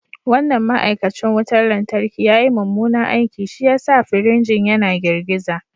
Wannan ma’aikacin wutar lantarki ya yi mummunan aiki, shi ya sa firinjin yana girgiza